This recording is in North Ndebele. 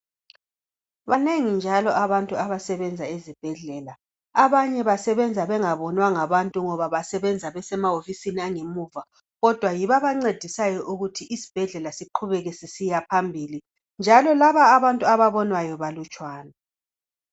Banengi njalo abantu abasebenza ezibhedlela. Abanye basebenza bengabonwa ngabantu ngoba basebenza besemawofisini angemuva kodwa yibo abancedisayo ukuthi isibhedlela siqhubeke sisiyaphambili njalo labo abantu ababonwayo balutshwane .